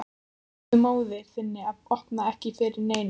Segðu móður þinni að opna ekki fyrir neinum.